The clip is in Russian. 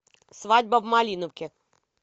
свадьба в малиновке